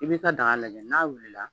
I bi ka daga lajɛ n'a wulila.